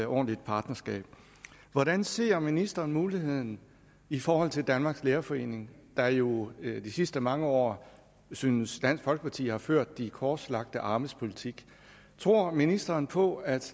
ordentligt partnerskab hvordan ser ministeren muligheden i forhold til danmarks lærerforening der jo de sidste mange år synes dansk folkeparti har ført de korslagte armes politik tror ministeren på at